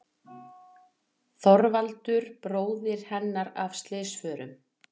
Þorvaldur bróðir hennar af slysförum.